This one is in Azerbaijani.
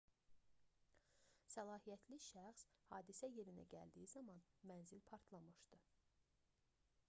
səlahiyyətli şəxs hadisə yerinə gəldiyi zaman mənzil partlamışdı